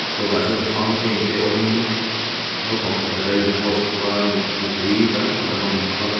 kawtah chuan fountain te awmin naupang pakhat a in pose bawk a mi mipui tam tak an awm bawk a.